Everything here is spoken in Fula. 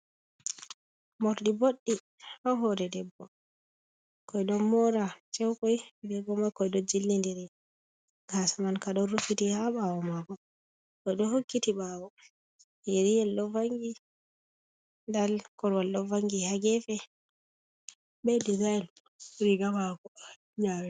Mordi boɗɗi ha hore debbo ɓikkoi ɗon mora ceukoi be gomokoi ɗon jili ndiri gasa man ka ɗon ruffiti ha ɓawo mako, oɗo hokkiti bawo yeri yel ɗo vangi nda korowal ɗo vangi ha gefe be dezayln riga mako nyare.